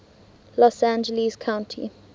los angeles county